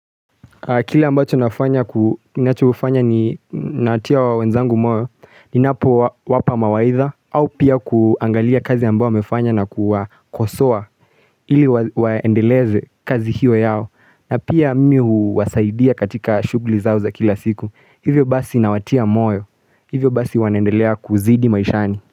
Kile ambacho nafanya ni natia wenzangu moyo ni napo wapa mawaidha au pia kuangalia kazi ambao wamefanya na kuwa kosoa ili waendeleze kazi hiyo yao na pia Mimi huwasaidia katika shugli zao za kila siku hivyo basi nawatia moyo hivyo basi wanandelea kuzidi maishani.